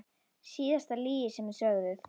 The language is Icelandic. Síðasta lygi sem þið sögðuð?